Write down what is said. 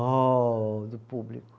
Oh, do público.